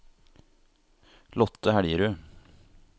Lotte Helgerud